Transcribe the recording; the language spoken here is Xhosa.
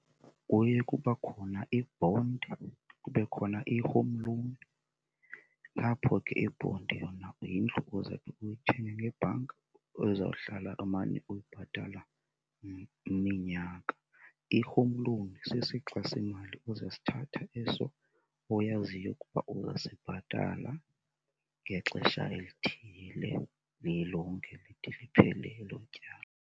Kuye kuba khona i-bond kube khona i-home loan, apho ke i-bond yona yindlu ozawube uyithenge ngebhanki ozawuhlala umane uyibhatala iminyaka. I-home loan sisixa semali ozasithatha eso oyaziyo ukuba uzasibhatala ngexesha elithile lilonke lide liphele elo tyala.